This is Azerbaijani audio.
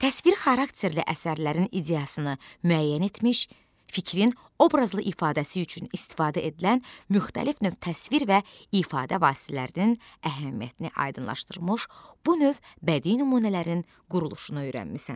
Təsvir xarakterli əsərlərin ideyasını müəyyən etmiş, fikrin obrazlı ifadəsi üçün istifadə edilən müxtəlif növ təsvir və ifadə vasitələrinin əhəmiyyətini aydınlaşdırmış, bu növ bədii nümunələrin quruluşunu öyrənmisən.